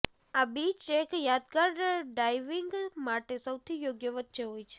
આ બીચ એક યાદગાર ડાઇવિંગ માટે સૌથી યોગ્ય વચ્ચે હોય છે